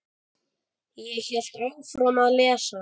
Ég hélt áfram að lesa.